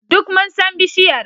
Duk mun san bishiyar.